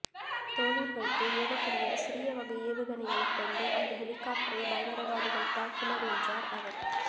தோளில் வைத்து ஏவக்கூடிய சிறிய வகை ஏவுகணையைக் கொண்டு அந்த ஹெலிகாப்டரை பயங்கரவாதிகள் தாக்கினர் என்றார் அவர்